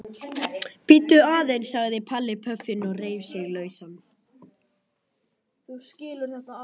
Bíddu aðeins sagði Palli og reif sig lausan.